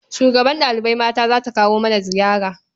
Shugabar ɗalibai mata za ta kawo mana ziyara.